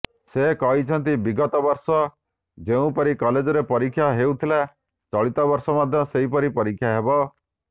ସେ କହିଛନ୍ତି ବିଗତବର୍ଷ ଯେଉଁପରି କଲେଜରେ ପରୀକ୍ଷା ହେଉଥିଲା ଚଳିତବର୍ଷ ମଧ୍ୟ ସେପରି ପରୀକ୍ଷା ହେବ